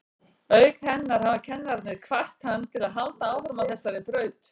Auk hennar hafa kennararnir hvatt hann til að halda áfram á þessari braut.